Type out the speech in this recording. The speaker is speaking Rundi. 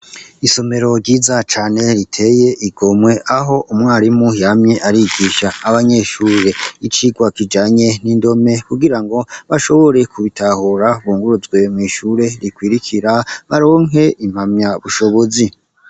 isomero ryiza cane riteye igomwe aho umwarimu yamye arigisha abanyeshure icigwa kijanye n'indome kugira ngo bashobore kubitahura bunguruzwe mu ishure rikwirikira baronke impamya bushobozi